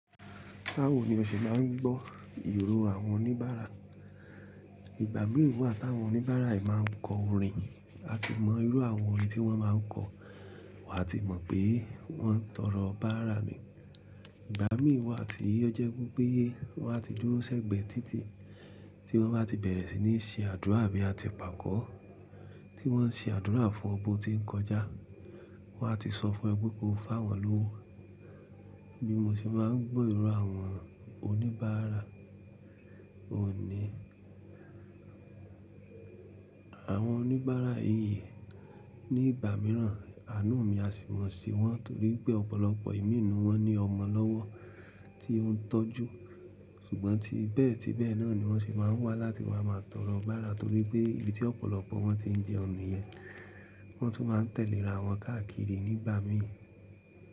Báwo ni o ṣe máa ń gbọ́ ìró àwọn oníbàárà? Ìgbà mí wa àti àwọn oníbàárà yìí máa ń kọ orin, a ti mọ irú àwọn orin tí wọ́n máa ń kọ, wàá ti mọ̀ pé wọ́n ń tọrọ bàára ni. Ìgbà mí ì wa ti ìyọ́ jẹ́ pé wọ́n á ti dúró sẹ́gbẹ̀ẹ́ títí tí wọ́n bá ti bẹ̀rẹ̀ sí ní ṣe àdúrà àbí àti pàkọ́ tí wọ́n ń ṣe àdúrà fún ọ bo tí ń kọjá. Wọ́n á ti sọ fún ẹ pé ko fá wọn lówó. Bí mo ṣe bá ń gbọ́ ìró àwọn oníbàárà òunní, àwọn oníbàárà yìí ní ìgbà mìíràn àánú mi á sì wọ́n sì wọ́n torí pé ọ̀pọ̀lọpọ̀ ìmínù wọn ní ọmọ lọ́wọ́ tí ó ń tọ́jú. Ṣùgbọ́n ti bẹ́ẹ̀ tí bẹ́ẹ̀ náà ni wọ́n se máa ń wá láti wá máa tọrọ bàára torí pé ibí tí ọ̀pọ̀lọpọ̀ wọn ti ń jẹ ọ̀nà yẹn, wọ́n tún máa ń tẹ̀léra àwọn káàkiri nígbà míì.